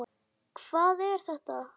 Hvað er þetta!